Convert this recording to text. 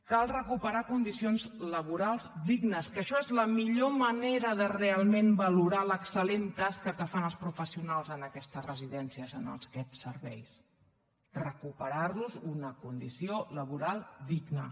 cal recuperar condicions laborals dignes que això és la millor manera de realment valorar l’excel·lent tasca que fan els professionals en aquestes residències en aquests serveis recuperar los una condició laboral digna